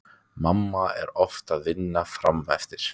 Mamma er oft að vinna frameftir.